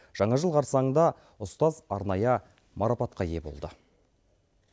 жаңа жыл қарсаңында ұстаз арнайы марапатқа ие болды